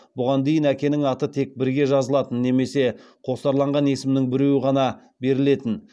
бұған дейін әкенің аты тек бірге жазылатын немесе қосарланған есімнің біреуі ғана берілетін